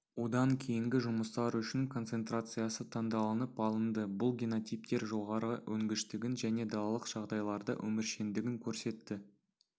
одан кейінгі жұмыстар үшін концентрациясы таңдалынып алынды бұл генотиптер жоғары өнгіштігін және далалық жағдайларда өміршеңдігін көрсетті